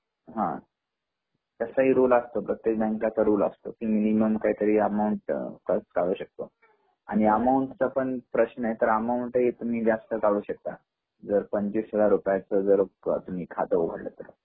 हा तसा रूल असतो प्रत्येक बँकचा रूल असतो.मिनिमम काहीतरी अकाऊंट फक्त काढू शकतो आणि अकाऊंट चा पण प्रश्न आहे तर अकाऊंट हि तुम्ही जास्त काढू शकता जर पंचवीस हजार रुपयाच जर तुम्ही खात उघडल तर